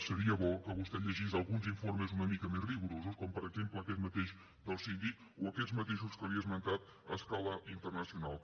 seria bo que vostè llegís alguns informes una mica més rigorosos com per exemple aquest mateix del síndic o aquests mateixos que li he esmentat a escala internacional